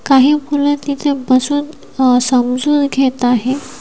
काही मुल तिथे बसून अ समजून घेत आहे.